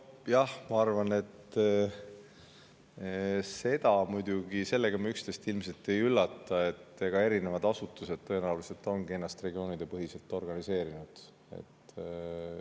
Nojah, ma arvan, et sellega me muidugi üksteist ilmselt ei üllata, et erinevad asutused tõenäoliselt ongi ennast regioonipõhiselt organiseerinud.